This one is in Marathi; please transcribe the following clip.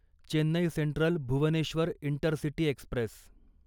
Chennai central Bhubaneswar intercity Express